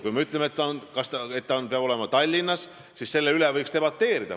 Kui me ütleme, et ta peab olema Tallinnas, siis selle üle võiks debateerida.